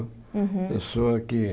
Uhum Eu sou aqui.